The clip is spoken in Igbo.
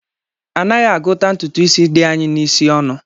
Anaghị àguta ntụtụ ísí dị anyị n'isi ọnụ